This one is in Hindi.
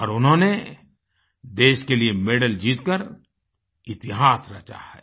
और उन्होंने देश के लिए मेडल जीत कर इतिहास रचा है